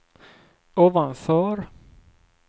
ovanför